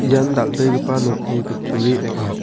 ian dal·begipa nokni kutturi ong·a.